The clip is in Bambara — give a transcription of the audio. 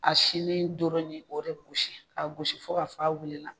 A sinni dɔrɔn ye ni o yɛrɛ ko de gosi ka gosi fo ka fɔ ka wululi